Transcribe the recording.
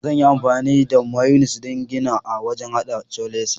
Zan yi amfani da mayunis ɗin gida a wajan haɗa coleslaw.